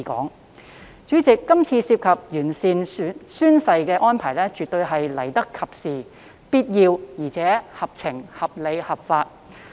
代理主席，《條例草案》中完善宣誓規定等安排，絕對是來得及時、必要，而且合情、合理、合法。